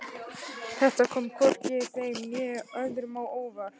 Þetta kom hvorki þeim né öðrum á óvart.